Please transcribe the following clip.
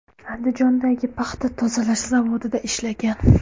Andijondagi paxta tozalash zavodida ishlagan.